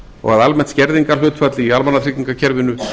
og almennt skerðingarhlutfall í almannatryggingakerfinu